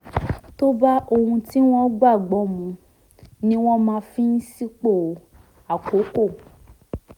tó bá ohun tí wọ́n gbàgbọ́ mu ni wọ́n máa ń fi sípò àkọ́kọ́